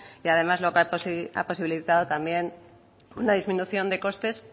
que además lo que ha posibilitado también una disminución de costes